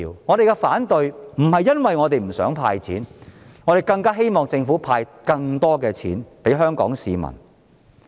我們反對，並非因為我們不想"派錢"，我們更希望政府派發更多錢給香港市民。